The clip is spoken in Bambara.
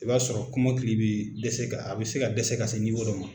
I b'a sɔrɔ kɔmɔkili bi dɛsɛ ka a bɛ se ka dɛsɛ ka se dɔ ma.